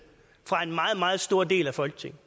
fra en meget meget stor del af folketinget